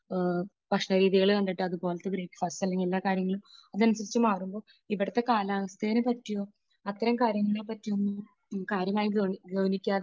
ഭക്ഷണ രീതി കണ്ടിട്ട് അതുപോലത്തെ ബ്രേക്ഫാസ്റ്റ് അല്ലെങ്കിൽ എല്ലാ കാര്യങ്ങളും അതനുസരിച്ച് മാറുമ്പോൾ ഇവിടുത്തെ കാലാവസ്ഥയെ പറ്റിയോ അത്തരം കാര്യങ്ങളെ പറ്റി ഒന്നും കാര്യമായി ഗൗനി, ഗൗനിക്കാതെ